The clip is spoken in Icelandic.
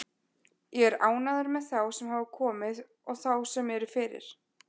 Ég er ánægður með þá sem hafa komið og þá sem eru fyrir.